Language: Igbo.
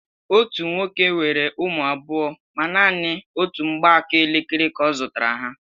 Otú nwoke nwere ụmụ abụọ ma nanị otú mgbaaka elekere ka ọ zụtara ha.